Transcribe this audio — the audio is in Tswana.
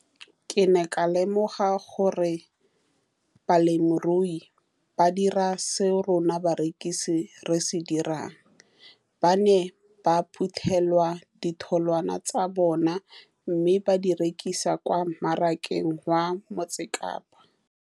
Ke ne ka lemoga gape gore balemirui ba dira seo rona barekisi re se dirang, ba ne ba phuthela ditholwana tsa bona mme ba di rekisa kwa marakeng wa Motsekapa.